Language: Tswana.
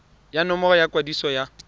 ya nomoro ya kwadiso ya